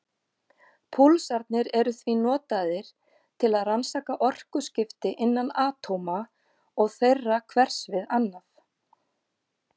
Púlsarnir eru því notaðir til að rannsaka orkuskipti innan atóma og þeirra hvers við annað.